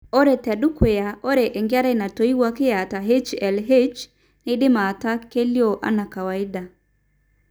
Ore tedukuya, ore engerai natoiwuoki eata HLHS neidim ataa kelioo anaa kawaida.